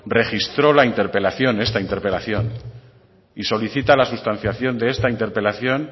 registró la interpelación esta interpelación y solicita la sustentación de esta interpelación